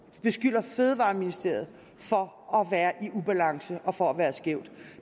beskylder fødevareministeriet for at være i ubalance og for at være skævt